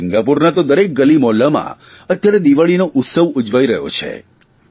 સિંગાપુરના તો દરેક ગલીમહોલ્લામાં અત્યારે દિવાળીનો ઉત્સવ ઉજવાઇ રહ્યો છે